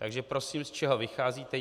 Takže prosím, z čeho vycházíte?